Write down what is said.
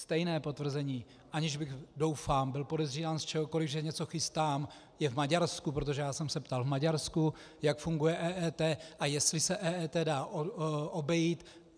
Stejné potvrzení, aniž bych, doufám, byl podezírán z čehokoliv, že něco chystám, je v Maďarsku, protože já jsem se ptal v Maďarsku, jak funguje EET a jestli se EET dá obejít.